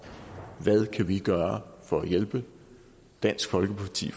hvad vi kan gøre for at hjælpe dansk folkeparti